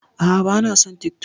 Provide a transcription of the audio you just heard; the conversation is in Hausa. A'a, ba na son TikTok.